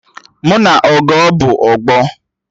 Mụ na Ọgọ bụ ọgbọ